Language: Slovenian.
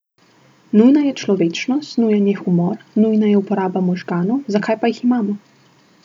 Nujna je človečnost, nujen je humor, nujna je uporaba možganov, zakaj pa jih imamo!